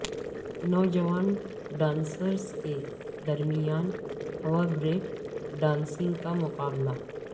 نوجوان ڈانسرز کے درمیان ہوا بریک ڈانسنگ کا مقابلہ